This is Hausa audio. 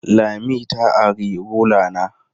Lami ta ari rula na.